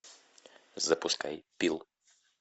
запускай пил